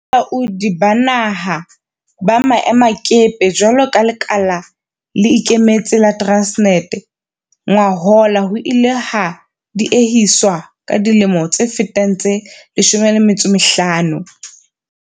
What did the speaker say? Ho thehwa ha balaodi ba naha ba maemakepe jwalo ka lekala le ikemetse la Transnet ngwahola ho ile ha diehiswa ka dilemo tse fetang tse 15.